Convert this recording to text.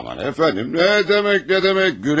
Aman, əfəndim, nə demək, nə demək?